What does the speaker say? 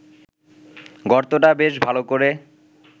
গর্তটা বেশ ভালো করে